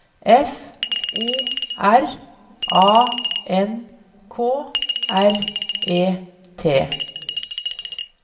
F O R A N K R E T